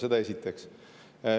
Seda esiteks.